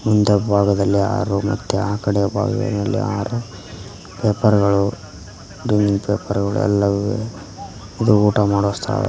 ಒಂದು ಭಾಗದಲ್ಲಿ ಆರು ಮತ್ತೆ ಆಕಡೆ ಭಾಗದಲ್ಲಿ ಆರು ಪೇಪರ್ ಗಳು ಡೈನಿಂಗ್ ಪೇಪರ್ ಗಳು ಎಲ್ಲವೂ ಇವೆ ಇದು ಊಟ ಮಾಡುವ ಸ್ಥಳ.